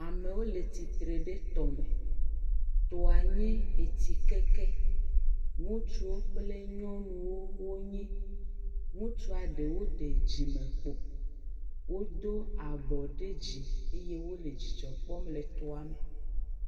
Amewo le tsitre ɖe tɔme, tɔa nye etsi keke ŋutsu kple nyɔnuwo wonye, ŋutsu ɖewo ɖe dzime kpo wodo abɔ ɖe dzi eye wole dzidzɔ kpɔm le tɔa me.